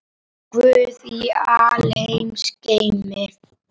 Guð í alheims geimi.